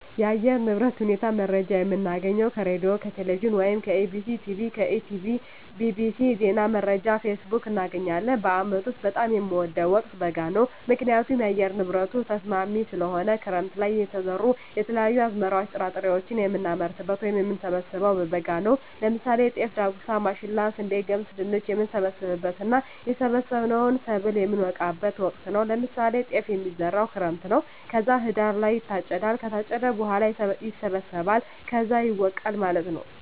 የአየር ንብረት ሁኔታ መረጃ የምናገኘው ከሬድዬ፣ ከቴሌቪዥን ወይም ከEBctv፣ ከETB tv፣ bbc፣ ዜና መረጃ፣ ፌስቡክ፣ እናገኛለን። በአመት ውስጥ በጣም የምወደው ወቅት በጋ ነው ምክንያቱም የአየር ንብረቱ ተስማሚ ስለሆነ፣ ክረምት ለይ የተዘሩ የተለያዩ አዝመራዎች ጥራጥሬዎችን የምናመርትበት ወይም የምንሰብበው በበጋ ነው ለምሳሌ ጤፍ፣ ዳጉሳ፣ ማሽላ፣ ስንዴ፣ ገብስ፣ ድንች፣ የምንሰበስብበት እና የሰበሰብነውን ሰብል የምነወቃበት ወቅት ነው ለምሳሌ ጤፍ የሚዘራው ክረምት ነው ከዛ ህዳር ላይ ይታጨዳል ከታጨደ በኋላ ይሰበሰባል ከዛ ይወቃል ማለት ነው።